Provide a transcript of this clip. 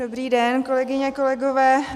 Dobrý den, kolegyně, kolegové.